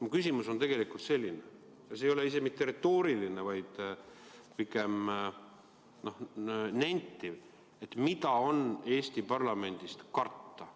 Mu küsimus on tegelikult selline ja see ei ole isegi retooriline, vaid pigem nentiv: mida on Eesti parlamendist karta?